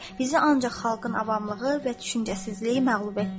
Bizi ancaq xalqın avamlığı və düşüncəsizliyi məğlub etdi.